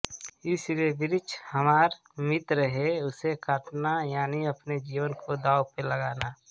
इसलिए वृक्ष हमारॅ मित्र हे उसे काटना यानी आपने जीवन को दाव पर लगाना